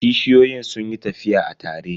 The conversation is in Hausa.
Kishiyoyin sun yi tafiya a tare.